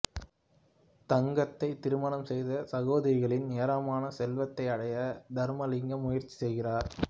தங்கத்தைத் திருமணம் செய்து சகோதரிகளின் ஏராளமான செல்வத்தை அடைய தர்மலிங்கம் முயற்சி செய்கிறார்